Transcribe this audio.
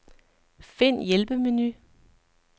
Find hjælpemenu.